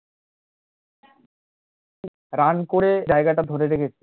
run করে জায়গাটা ধরে রেখেছে